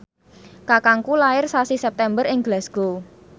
kakangku lair sasi September ing Glasgow